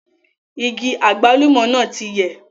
Igi àgbálùmọ́ náà ti yẹ̀